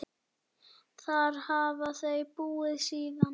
Þar hafa þau búið síðan.